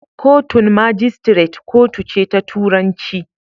Kotun magistrate kotu ce ta turanci.